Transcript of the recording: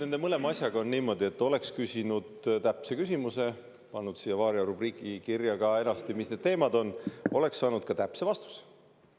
No vot, mõlema asjaga on niimoodi, et kui te oleksite küsinud täpse küsimuse, pannud siia "Varia" rubriiki kirja ka eraldi, mis need teemad on, siis ma oleksin saanud anda ka täpse vastuse.